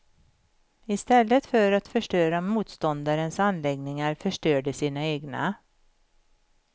Istället för att förstöra motståndarens anläggningar förstör de sina egna.